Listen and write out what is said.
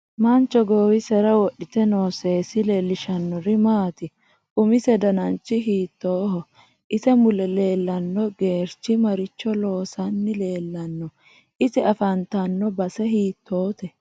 Mancho goowisera wodhite noo seesi leelishanori maati umise dananchi hiitooho ise mule leelanno gewrchi maricho loosani leelanno ise afantanno base hiitoote